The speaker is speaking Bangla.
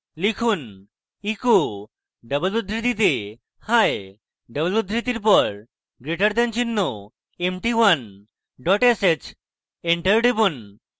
লিখুন echo double উদ্ধৃতিতে hiii double উদ্ধৃতির পর greater দেন চিহ্ন empty1 dot sh enter টিপুন